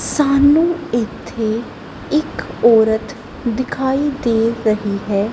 ਸਾਨੂੰ ਇਥੇ ਇਕ ਔਰਤ ਦਿਖਾਈ ਦੇ ਰਹੀ ਹੈ।